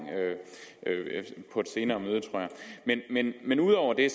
på et senere møde tror jeg men ud over det